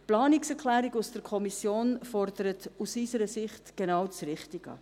Die Planungserklärung aus der Kommission fordert aus unserer Sicht genau das Richtige.